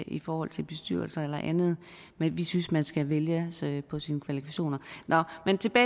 i forhold til bestyrelser eller andet men vi synes at man skal vælges på sine kvalifikationer